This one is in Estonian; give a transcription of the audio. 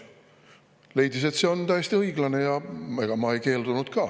Ta leidis, et see on täiesti õiglane, ja ega ma ei keeldunud ka.